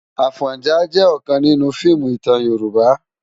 Afònjá jè òkán ninú fiimú itán Yoruba